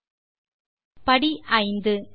step 5